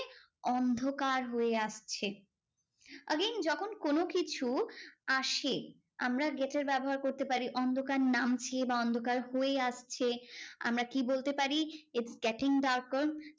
অন্ধকার হয়ে আসছে। again যখন কোনোকিছু আসে আমরা get এর ব্যবহার করতে পারি অন্ধকার নামছে বা অন্ধকার হয়ে আসছে, আমরা কি বলতে পারি? it's getting darker.